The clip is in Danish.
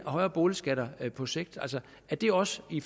højere boligskatter på sigt er det også i